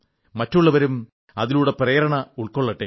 മറ്റുള്ളവരും അതിലൂടെ പ്രേരണ ഉൾക്കൊള്ളട്ടെ